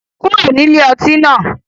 kuro ni ilé ọti náà